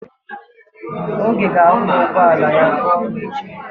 Oge ga-akwọ ụgbọala ya ga n'ọrụ echi.